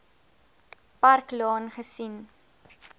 park laan gesien